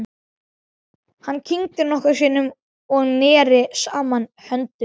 Hann kyngdi nokkrum sinnum og neri saman höndunum.